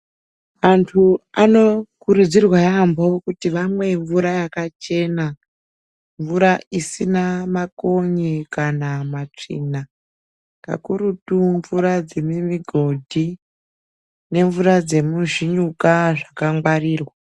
Antu anokurudzirwa yambo kuti amwe mvura yakachena isina makonyenkana matsvina kakurutu mvura dzemigodhi nemvura zvinyuka zvakangwarirwa.